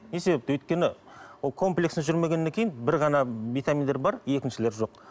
не себепті өйткені ол комплексно жүрмегеннен кейін бір ғана витаминдер бар екіншілер жоқ